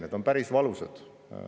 Need on päris valusad.